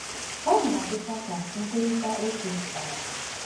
Ọ na-adịkwa ka nkwurịta okwu dara.